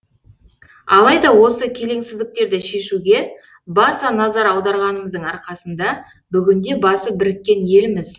алайда осы келеңсіздіктерді шешуге баса назар аударғанымыздың арқасында бүгінде басы біріккен елміз